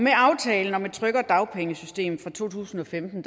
aftalen om et tryggere dagpengesystem fra to tusind og femten